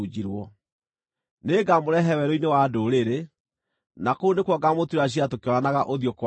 Nĩngamũrehe werũ-inĩ wa ndũrĩrĩ, na kũu nĩkuo ngaamũtuĩra ciira tũkĩonanaga ũthiũ kwa ũthiũ.